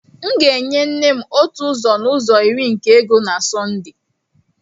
M ga-enye nne m otu ụzọ n'ụzọ iri nke ego na Sunday.